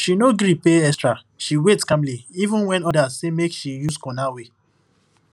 she no gree pay extra she wait calmly even when others say make she use corner way